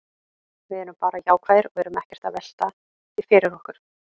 Við erum bara jákvæðir og erum ekkert að velta því fyrir okkur.